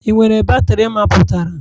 Ị nwere batrị mapụtara?